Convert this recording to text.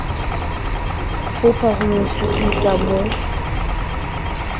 fopha ho sututsa ho mo